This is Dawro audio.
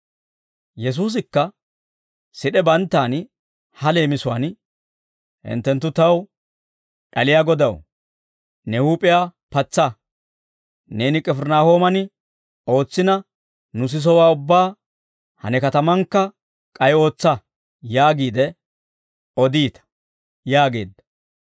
Yesuusikka sid'e banttaan ha leemisuwaan, «Hinttenttu taw ‹D'aliyaa Godaw, ne huup'iyaa patsa, neeni K'ifirinaahooman ootsina nu sisowaa ubbaa ha ne katamaankka k'ay ootsa› yaagiide odiita» yaageedda.